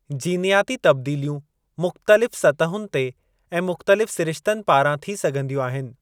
जीनयाती तब्दीलियूं मुख़्तलिफ़ सतहुनि ते ऐं मुख़्तलिफ़ सरिश्तनि पारां थी सघिंदियूं आहिनि।